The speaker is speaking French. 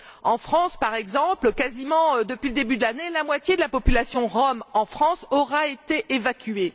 En France, par exemple, quasiment depuis le début de l'année, la moitié de la population rom en France a été évacuée.